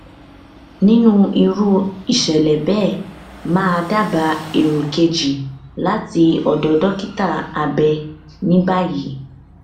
nínú irú ìṣẹlẹ bẹẹ mà á dábàá èrò kejì láti ọdọ dókítà abẹ ní báyìí